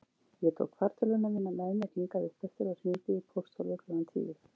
Ég tók fartölvuna mína með mér hingað uppeftir og hringdi í pósthólfið klukkan tíu.